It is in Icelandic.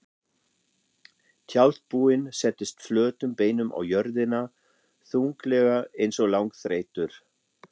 Tjaldbúinn settist flötum beinum á jörðina, þunglega einsog langþreyttur.